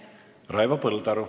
Raivo Põldaru.